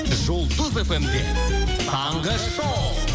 жұлдыз фм де таңғы шоу